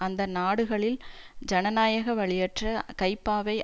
அந்த நாடுகளில் ஜனநாயக வழியற்ற கைப்பாவை